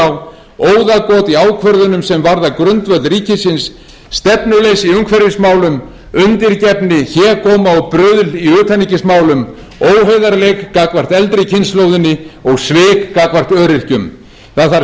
óðagot í ákvörðunum sem varða grundvöll ríkisins stefnuleysi í umhverfismálum undirgefni hégóma og bruðl í utanríkismálum óheiðarleika gagnvart eldri kynslóðinni og svik gagnvart öryrkjum það þarf